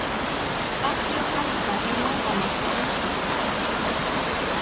Allir halda í lófana á einhverjum.